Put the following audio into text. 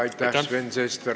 Aitäh, Sven Sester!